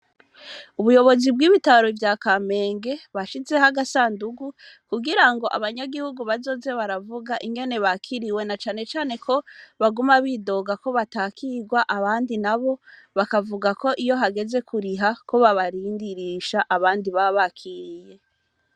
Ubuyobozi, bw'ibitaro vya Kamenge, bashizeho agasandugu, kugira ngo, bazoze baravuga, ingene bakiriwe; na cane cane ko, baguma bidoga ko, batakirwa; abandi nabo, bakavuga ko, iyo hageze kuriha, ko babarindirisha abandi, baba bakiriye.